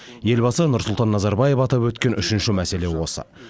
елбасы нұрсұлтан назарбаев атап өткен үшінші мәселе осы